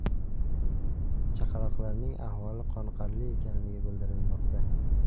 Chaqaloqlarning ahvoli qoniqarli ekanligi bildirilmoqda.